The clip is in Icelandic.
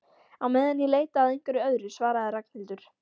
Á meðan ég leita að einhverju öðru svaraði Ragnhildur.